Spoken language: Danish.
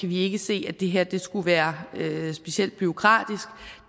vi ikke se at det her skulle være specielt bureaukratisk